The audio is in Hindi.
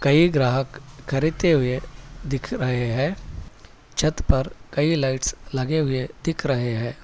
ये ग्राहक खरीदते हुए दिख रहे है छत पर कई लाइट्स लगे हुए दिख रहे है।